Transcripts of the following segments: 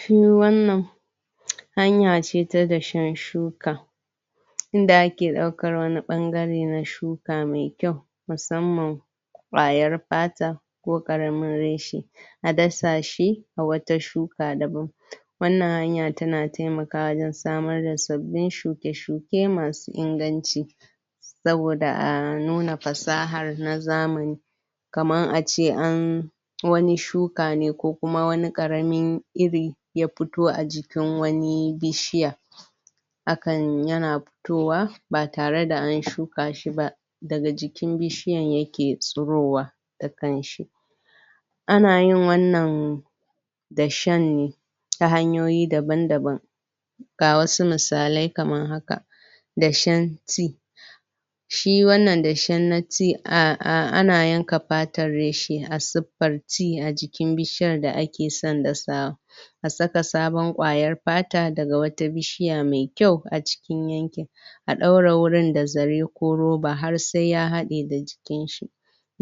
shi wannan hanya ce ta dashen shuka inda ake daukar wani bangare na shuka mai kyau musamman kwayar pata ko karamin reshe a dasa shi a wata shuka da ban wannan hanya tana taimakawa wajen samar da sabbin shuke shuke masu inganci saboda a nuna fasahar na zamani kamar ace an wani shuka ne ko kuma wani karamin iri ya fito a jikin wani bishiya hakan yana fitowa ba tare da an shuka shiba daga jikin bishiyan yake fitowa dakanshin anayin wannan dashen ta hanyoyi dabaan daban ga wasu misalai kamn haka dashen nitti shi wannan dashen natti ana yanka patar reshe a siffarci a jikin bishiyar da ake son dasawa ka saka wata sabon kwayan pata daga wata bishiya mai kyau a cikin a daure wurin da zare ko roba har sai ya hade da jikinshi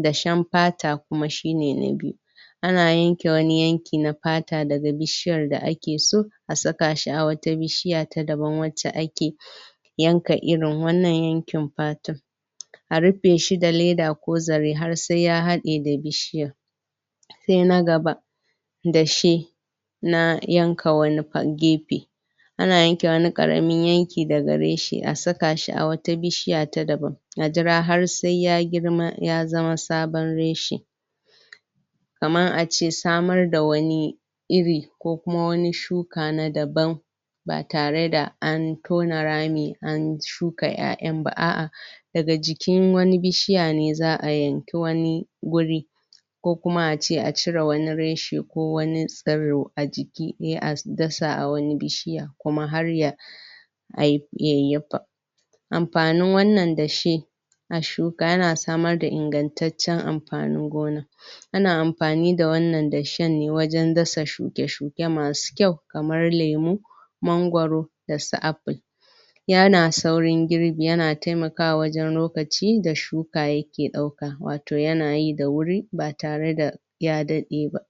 dashen pata kuma shine na biyu ana yanke wani yanki na pata daga bishiyar da ake so a saka shi a wata bishiya ta daban wace ake yanka irin wannan yankin pata a rufe shi da leda ko zare har sai ya hade da bishiyar sai gaba dashe na yanka wani gefe ana yanke wani karamin yanki daga reshe a saka shi wata bishiya ta dabban a jira har sai ya girma ya zama sabon reshe kamar ace samar da wani iri iri ko kuma wani shuka na daban ba tare a an tona rami an shuka yayan ba a'a daga jikin wani bishiya ne za'a yanki wani guri ko kuma ace a cire wani reshe ko wani tsiro a jiki sai a dasa a wani bishiyan kuma ya hayayyafa amfanin wannan dashe na shuka yana samar da ingantaccen amfanin gona ana amfani da wannan dashen ne wajen dasa shuke shuke masu kyaukamar lemu mangwaro dasu apple yana saurin girbi yana taimakawa wajen lokaci da shuka yake dauka wato yana yi da wuri ba tare da da ya dade ba